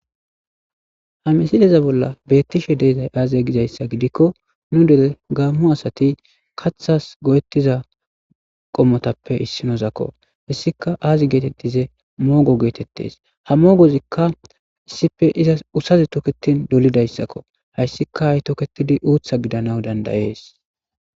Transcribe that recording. Hamisideza bolla beettishe deezay aaze gizayssa gidikko nu dere gaammu asati kathas go'ettiza qommotappe issinozakko hissika aazi geetettize moogo geetettes ha mogozikka issife izas usazi toketin dolidayssakko hayssika hay toketidi uutha gidana dandayees.